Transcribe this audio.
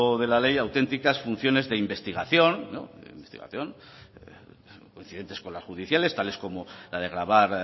de la ley auténticas funciones de investigación de investigación coincidentes con las judiciales tales como la de grabar